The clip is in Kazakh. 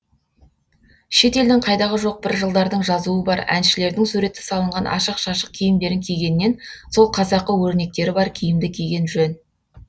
шет елдің қайдағы жоқ бір жылдардың жазуы бар әншілердің суреті салынған ашық шашық киімдерін кигеннен сол қазақы өрнектері бар киімді киген жөн